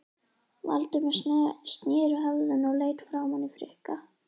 Valdimar sneri höfðinu og leit framan í Friðrik.